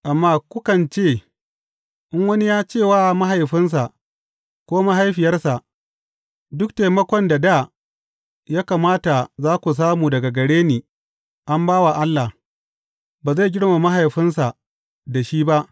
Amma ku kukan ce, in wani ya ce wa mahaifinsa ko mahaifiyarsa, Duk taimakon da dā ya kamata za ku samu daga gare ni an ba wa Allah,’ ba zai girmama mahaifinsa’ da shi ba.